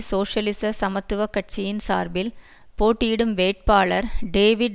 சோசியலிச சமத்துவ கட்சியின் சார்பில் போட்டியிடும் வேட்பாளர் டேவிட்